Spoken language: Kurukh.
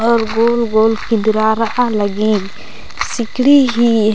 अऊर गोल गोल किन्दरारआ लग्गी सिकड़ी ही --